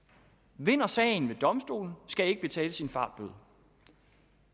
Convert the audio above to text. vinder sagen ved domstolen skal ikke betale sin fartbøde